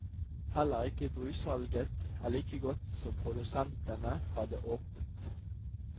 Heller ikke brussalget er like godt som produsentene hadde håpet.